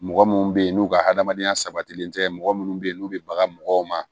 Mɔgɔ munnu be yen n'u ka adamadenya sabatilen tɛ mɔgɔ munnu be yen n'u be bagan mɔgɔw ma